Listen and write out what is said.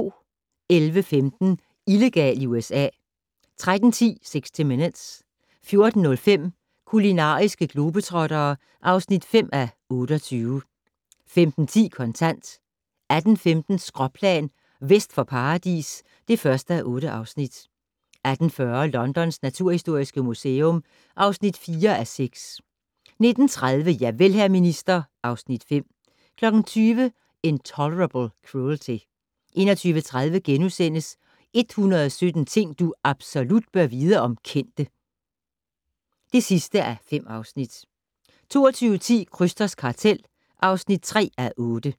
11:15: Illegal i USA 13:10: 60 Minutes 14:05: Kulinariske globetrottere (5:28) 15:10: Kontant 18:15: Skråplan - Vest for Paradis (1:8) 18:40: Londons naturhistoriske museum (4:6) 19:30: Javel, hr. minister (Afs. 5) 20:00: Intolerable Cruelty 21:30: 117 ting du absolut bør vide om kendte (5:5)* 22:10: Krysters kartel (3:8)